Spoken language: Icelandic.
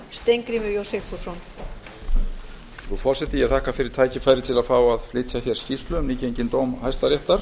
frú forseti ég þakka fyrir tækifærið til að fá að flytja hér skýrslu um nýgenginn dóm hæstaréttar